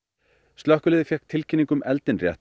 slökkvilið fékk tilkynningu um eldinn